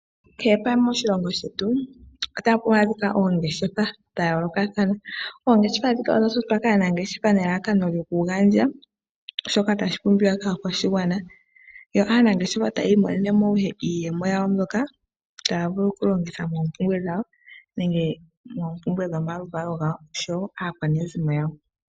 Kehe pamwe moshilongo otapu adhika oongeshefa dha yoolokathana. Oongeshefa ndhika odha totwa kaanangeshefa nelalakano lyoku gandja shoka tashi pumbiwa kaakwashigwana, yo aanangeshefa tayi imonene mo ihe iiyemo yawo mbyoka taa vulu okulongitha moompumbwe dhawo nenge moompumbwe dhomaluvalo gawo oshowo aakwanezimo yawo.